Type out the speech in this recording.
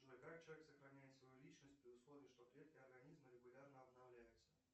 джой как человек сохраняет свою личность при условии что клетки организма регулярно обновляются